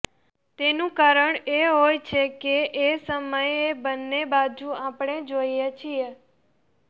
તેનું કારણ એ હોય છે કે એ સમયે બંને બાજુ આપણે જ હોઈએ છીએ